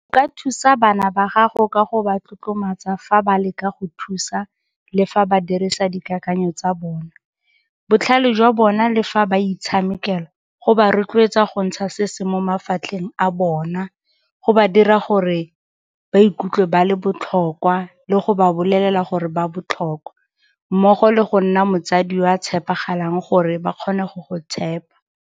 O ka thusa bana ba gago ka go ba tlotlomatsa fa ba leka go thusa le fa ba dirisa dikakanyetso tsa bona, botlhale jwa bona le fa ba itshamekela, go ba rotloetsa go ntsha se se mo mafatlheng a bona, go ba dira gore ba ikutlwe ba le botlhokwa le go ba bolelele gore ba botlhokwa, mmogo le go nna motsadi yo a tshepagalang gore ba kgone go go tshepa.